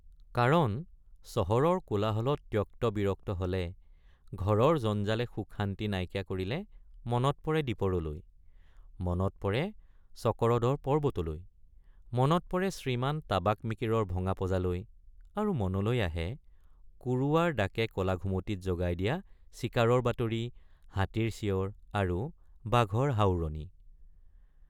কাৰণচহৰৰ কোলাহলত ত্যক্তবিৰক্ত হলে ঘৰৰ জঞ্জালে সুখশান্তি নাইকিয়া কৰিলে মনত পৰে দীপৰলৈ মনত পৰে চকৰদৰ পৰ্বতলৈমনত পৰে শ্ৰীমান টাবাক মিকিৰৰ ভঙা পঁজালৈ আৰু মনলৈ আহে কুৰুৱাৰ ডাকে কলা ঘুমটিত জগাই দিয়া চিকাৰৰ বাতৰি হাতীৰ চিঞৰ আৰু বাঘৰ হাওৰণি।